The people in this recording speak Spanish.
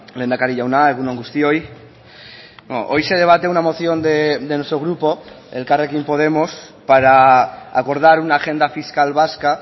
lehendakari jauna egun on guztioi hoy se debate una moción de nuestro grupo elkarrekin podemos para acordar una agenda fiscal vasca